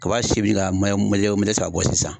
Kaba si bi ka mɔjɛ mɔjɛ mɔdɛli saaba bɔ sisan